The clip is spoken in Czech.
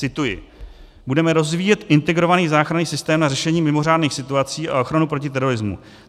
Cituji: "Budeme rozvíjet integrovaný záchranný systém na řešení mimořádných situací a ochranu proti terorismu.